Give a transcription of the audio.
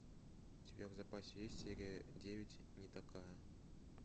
у тебя в запасе есть серия девять не такая